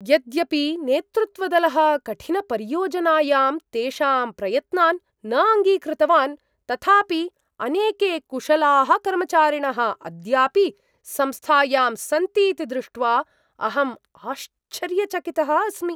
यद्यपि नेतृत्वदलः कठिनपरियोजनायां तेषां प्रयत्नान् न अङ्गीकृतवान् तथापि अनेके कुशलाः कर्मचारिणः अद्यापि संस्थायां सन्तीति दृष्ट्वा अहम् आश्चर्यचकितः अस्मि।